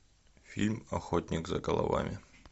фильм охотник за головами